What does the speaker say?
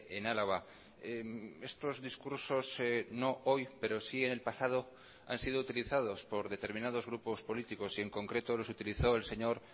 en álava estos discursos no hoy pero sí en el pasado han sido utilizados por determinados grupos políticos y en concreto los utilizó el señor